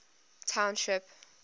township